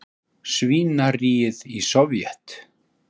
svínaríið í Sovét.